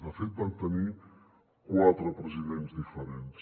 de fet van tenir quatre presidents diferents